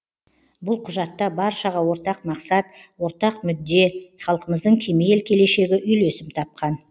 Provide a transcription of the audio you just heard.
бұл құжатта баршаға ортақ мақсат ортақ мүдде халқымыздың кемел келешегі үйлесім тапқан